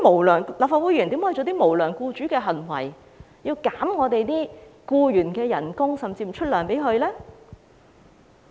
立法會議員怎能做出無良僱主的行為，削減僱員的工資，甚至不發薪呢？